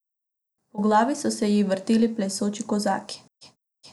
Po glavi so se ji vrteli plešoči kozaki.